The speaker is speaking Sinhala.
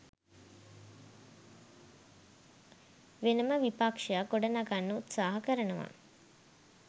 වෙනම විපක්ෂයක් ගොඩනගන්න උත්සාහ කරනවා